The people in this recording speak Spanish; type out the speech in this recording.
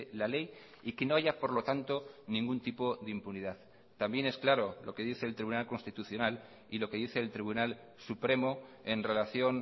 la ley y que no haya por lo tanto ningún tipo de impunidad también es claro lo que dice el tribunal constitucional y lo que dice el tribunal supremo en relación